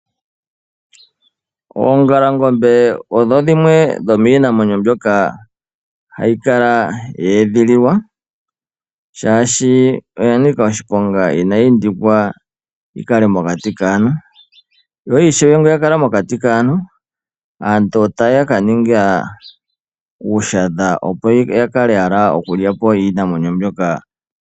Oongalangombe odho dhimwe dhomiinamwenyo mbyoka hayi kala yeedhililwa , shaashi oya nika oshiponga inayi pitikwa yikale mokati kaantu. Yo ngele yuuthwa okukala mokati kaantu, aantu otaya ningi uushadha opo yalye po iinamwenyo mbyoka .